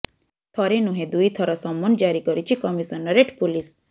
ଥରେ ନୁହେଁ ଦୁଇ ଥର ସମନ ଜାରି କରିଛି କମିଶନରେଟ ପୋଲିସ